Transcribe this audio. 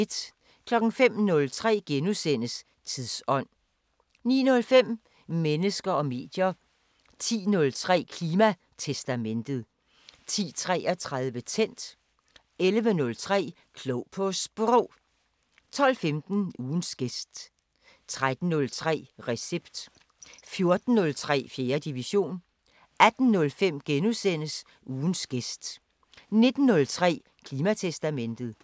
05:03: Tidsånd * 09:05: Mennesker og medier 10:03: Klimatestamentet 10:33: Tændt 11:03: Klog på Sprog 12:15: Ugens gæst 13:03: Recept 14:03: 4. division 18:05: Ugens gæst * 19:03: Klimatestamentet *